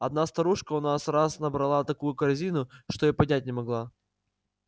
одна старушка у нас раз набрала такую корзину что и поднять не могла